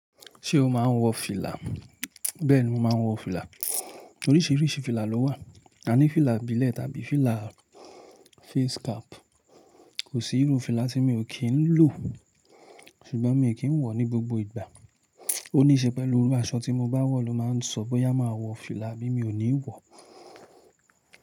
Ṣé o máa ń wọ fìlà? Bẹ́ẹ̀ni mò ma ń wọ fìlà. Oríṣìíríṣìí fìlà ló wà. A ní fìlà ibílẹ̀ tàbí fìlà face cap. Kò sí irú fìlà tí mi ò kí ń lò, ṣùgbọ́n mi ò kí ń wọ̀ ní gbogbo ìgbà. Ó níí ṣe pẹ̀lú irú aṣọ tí mo bá wọ̀ ló máa ń sọ bó yá máa wọ fìlà bí mi ò ní wọ̀.